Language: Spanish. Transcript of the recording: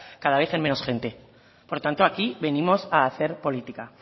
cada vez en manos gente por lo tanto aquí venimos a hacer política